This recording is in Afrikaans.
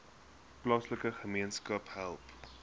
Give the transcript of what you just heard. plaaslike gemeenskappe help